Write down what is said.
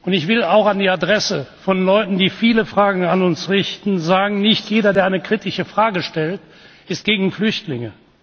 Ich will auch an die Adresse von Leuten, die viele Fragen an uns richten, sagen Nicht jeder, der eine kritische Frage stellt, ist gegen Flüchtlinge.